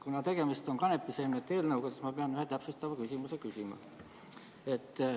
Kuna tegemist on kanepiseemnete eelnõuga, siis ma pean ühe täpsustava küsimuse küsima.